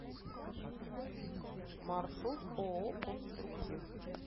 маршрут ооо конструктив